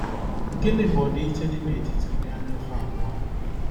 Gịnị bụ ọdịiche dị n’etiti ụdị anyaụfụ abụọ a?